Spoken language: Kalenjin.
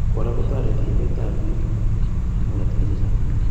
Kora kotoriti ibet ab bik ak tukuk eng oratinwek che chang'